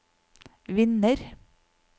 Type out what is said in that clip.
vinner